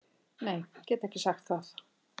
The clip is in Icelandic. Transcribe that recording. Nei get ekki sagt það.